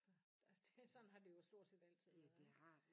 For altså det sådan har det jo stort set altid været